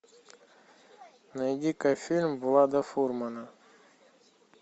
найди ка фильм влада фурмана